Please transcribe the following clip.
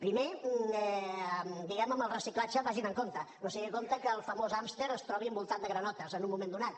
primer diguem ne amb el reciclatge vagin amb compte no sigui que el famós hàmster es trobi envoltat de granotes en un moment donat